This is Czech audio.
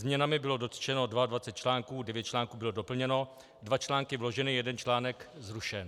Změnami bylo dotčeno 22 článků, 9 článků bylo doplněno, 2 články vloženy, 1 článek zrušen.